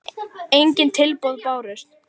Engin tilboð bárust.